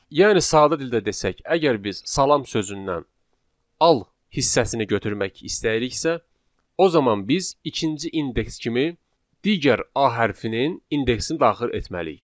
Yəni sadə dildə desək, əgər biz salam sözündən al hissəsini götürmək istəyiriksə, o zaman biz ikinci indeks kimi digər a hərfinin indeksini daxil etməliyik.